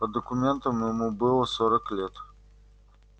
по документам ему было сорок лет